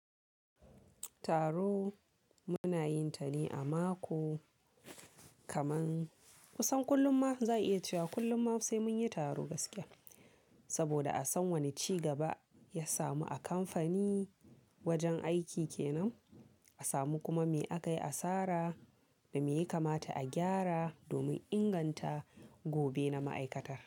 Taro muna yin ta ne a mako, kaman kusan kullum ma za iya cewa kullum ma sai mun yi taro gaskiya. Saboda a san wani ci gaba ya samu a kamfani wajen aiki kenan, a samu kuma me aka yi asara da me ya kamata a gyara domin inganta gobe na ma'aikatar.